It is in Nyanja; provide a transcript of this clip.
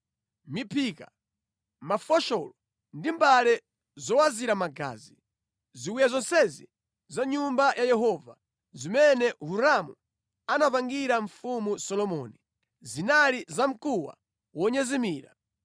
miphika, mafosholo ndi mbale zowazira magazi. Ziwiya zonsezi za ku Nyumba ya Yehova, zimene Hiramu anapangira Mfumu Solomoni, zinali zamkuwa wonyezimira.